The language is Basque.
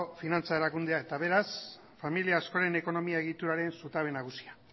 finantza erakundea eta beraz familia askoren ekonomia egituraren zutabe nagusia